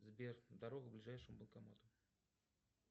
сбер дорогу к ближайшему банкомату